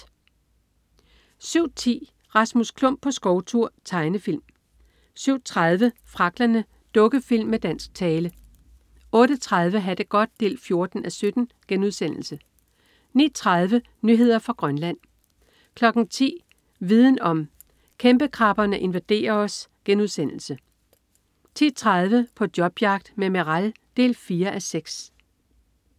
07.10 Rasmus Klump på skovtur. Tegnefilm 07.30 Fragglerne. Dukkefilm med dansk tale 08.30 Ha' det godt 14:17* 09.30 Nyheder fra Grønland 10.00 Viden om: Kæmpekrabberne invaderer os* 10.30 På jobjagt med Meral 4:6